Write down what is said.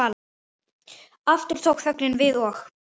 Aftur tók þögnin við og